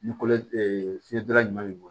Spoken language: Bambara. Ni kolo fiyedula ɲuman b'i bolo